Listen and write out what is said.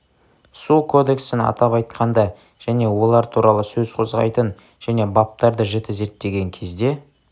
су кодексін атап айтқанда және олар туралы сөз қозғайтын және баптарды жіті зерттеген кезде